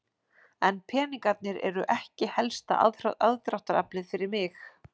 En peningarnir eru ekki helsta aðdráttaraflið fyrir mig.